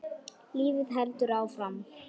Lífið heldur áfram.